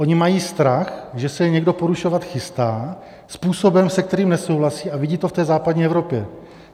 Oni mají strach, že se je někdo porušovat chystá způsobem, se kterým nesouhlasí, a vidí to v té západní Evropě.